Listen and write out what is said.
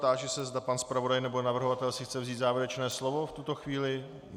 Táži se, zda pan zpravodaj nebo navrhovatel si chce vzít závěrečné slovo v tuto chvíli.